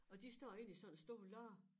Og de står inde i sådan en stor lade